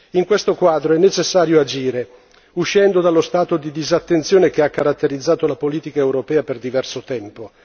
In questo quadro è necessario agire, uscendo dallo stato di disattenzione che ha caratterizzato la politica europea per diverso tempo.